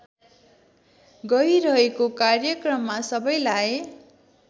गइरहेको कार्यक्रममा सबैलाई